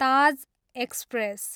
Taj express